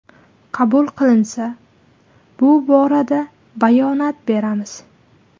Qabul qilinsa, bu borada bayonot beramiz.